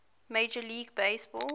major league baseball